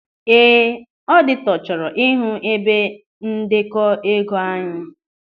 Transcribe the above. Ee, ọditọ chọrọ ịhụ ebe ndekọ ego anyị.